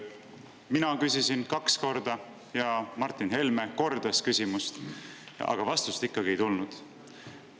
Mina küsisin kaks korda ja Martin Helme kordas küsimust, aga vastust ikkagi ei tulnud.